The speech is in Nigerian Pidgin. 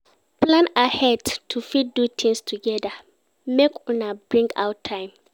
Plan ahead to fit do things together make Una bring out time